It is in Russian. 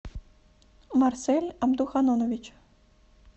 марсель абдуханонович